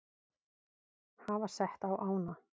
hafa sett á ána.